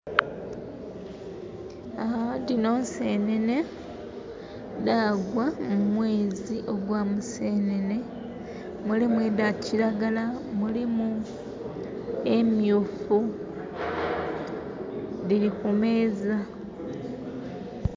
Dhino nsenene, dhagwa mumweezi ogwa Musenene. Mulimu edha kiragala, mulimu emyufu. Dhili kumeeza.